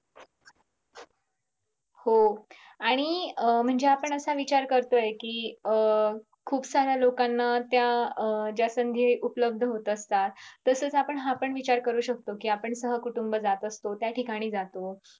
हो आणि अं म्हणजे आपण असा विचार करतोय कि अं खूप साऱ्या लोकांना त्या अं ज्या संधी उपलब्ध होत असतात तसेच आपण हा पण विचार करू शकतो कि आपण सहकुटूंब जात असतो त्या ठिकाणी जातो.